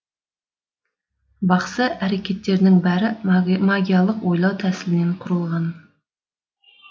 бақсы әрекеттерінің бәрі магикалық ойлау тәсілінен қүрылған